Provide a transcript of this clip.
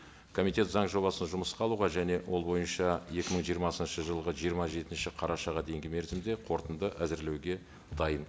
комитет заң жобасын жұмысқа алуға және ол бойынша екі мың жиырмасыншы жылғы жиырма жетінші қарашаға дейінгі мерзімде қорытынды әзірлеуге дайын